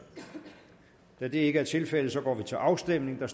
da det ikke er tilfældet går vi til afstemning